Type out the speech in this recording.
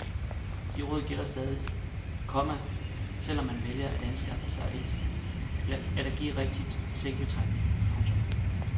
De råd gælder stadig, komma selv om man vælger at anskaffe sig et allergirigtigt sengebetræk. punktum